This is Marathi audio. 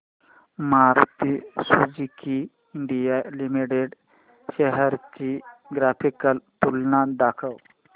Maruti Suzuki India Limited shares ची ग्राफिकल तुलना दाखव